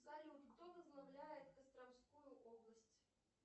салют кто возглавляет костромскую область